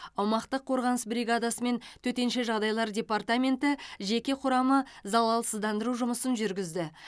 аумақтық қорғаныс бригадасы мен төтенше жағдайлар департаменті жеке құрамы залалсыздандыру жұмысын жүргізді